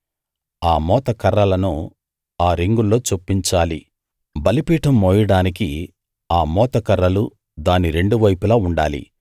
ఆ మోతకర్రలను ఆ రింగుల్లో చొప్పించాలి బలిపీఠం మోయడానికి ఆ మోతకర్రలు దాని రెండువైపులా ఉండాలి